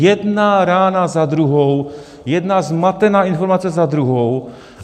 Jedna rána za druhou, jedna zmatená informace za druhou.